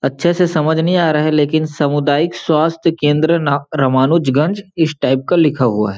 अच्छे से समझ नहीं आ रहा है लेकिन सामुदायिक स्वस्थ्य केंद्र ना रामानुजगंज इस टाइप का लिखा हुआ हैं।